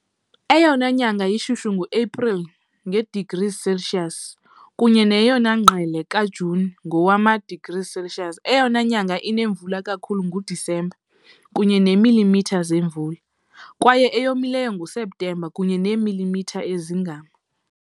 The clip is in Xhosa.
Eyona nyanga ishushu nguAprili, nge-degrees Celsius, kunye neyona ngqele kaJuni, ngowama-degrees Celsius. Eyona nyanga inemvula kakhulu nguDisemba, kunye neemilimitha zemvula, kwaye eyomileyo nguSeptemba, kunye neemilimitha ezingama .